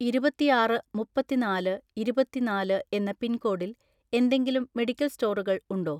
ഇരുപത്തിആറ് മുപ്പത്തിനാല് ഇരുപത്തിനാല് എന്ന പിൻകോഡിൽ എന്തെങ്കിലും മെഡിക്കൽ സ്റ്റോറുകൾ ഉണ്ടോ?